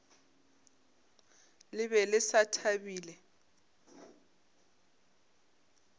le be le sa thabile